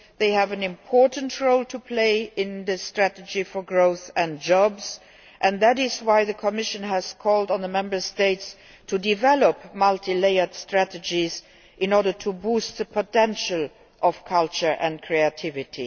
They have an important role to play in the strategy for growth and jobs and that is why the Commission has called on the Member States to develop multi layered strategies in order to boost the potential of culture and creativity